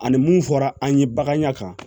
Ani mun fɔra an ye bagan ya kan